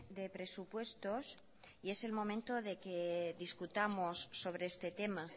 de presupuestos y es el momento de que discutamos sobre este tema